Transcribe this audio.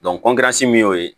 min y'o ye